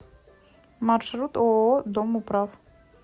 маршрут ооо домоуправ